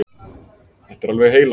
Þetta er alveg heilagt!